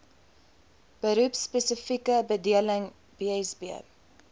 beroepspesifieke bedeling bsb